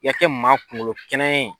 I ka kɛ maa kunkolo kɛnɛya ye.